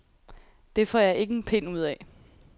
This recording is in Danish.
Det får jeg ikke en pind ud af.